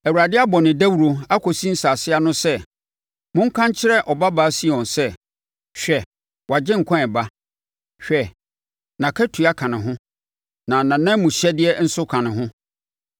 Awurade abɔ no dawuro akɔsi nsase ano sɛ, “Monka nkyerɛ Ɔbabaa Sion sɛ, ‘Hwɛ, wo Agyenkwa reba! Hwɛ nʼakatua ka ne ho, na nʼanamuhyɛdeɛ nso ka ne ho.’ ”